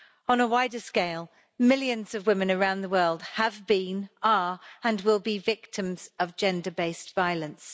On a wider scale, millions of women around the world have been, are, and will be, victims of gender based violence.